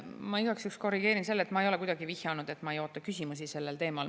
Ma igaks juhuks korrigeerin, et ma ei ole kuidagi vihjanud, et ma ei oota küsimusi sellel teemal.